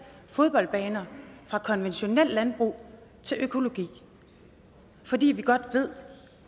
fodboldbaner fra konventionelt landbrug til økologi for vi ved godt